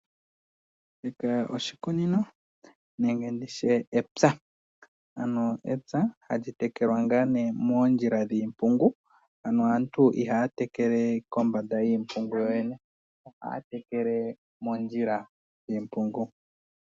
Shika oshikunino nenge ditye epya ano epya hali tekela ngaa nee moondjila dhiimpungu ano aantu ihaa tekele kombanda yiimpungu yoyene ohaa tekele mondjila.